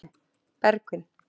Bergvin